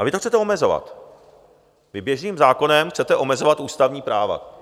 A vy to chcete omezovat, vy běžným zákonem chcete omezovat ústavní práva.